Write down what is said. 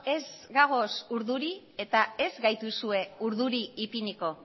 ez gagoz urduri eta ez gaituzue urduri ipiniko